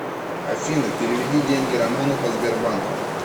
афина переведи деньги роману по сбербанку